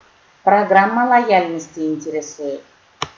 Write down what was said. программа лояльности интересует